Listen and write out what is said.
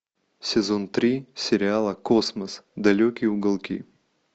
сезон три сериала космос далекие уголки